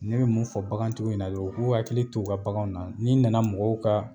Ne bi mun fɔ bakan tigiw ɲɛna dɔrɔn, u k'u hakili to u ka bakanw na . Ni nana mɔgɔw ka